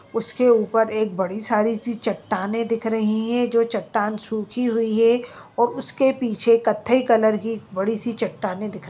उसके ऊपर एक बड़ी सारी सी चट्टानें दिख रही हे। जो चट्टान सुखी हुई हे और उसके पीछे कथई कलर की बड़ी सी चट्टानें दिख --